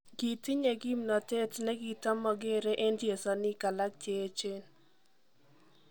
Gitinye kimnotet negitomogere en chesaniik alaak cheechen.